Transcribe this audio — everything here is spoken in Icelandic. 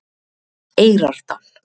Eyrardal